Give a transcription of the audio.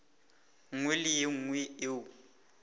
nngwe le ye nngwe yeo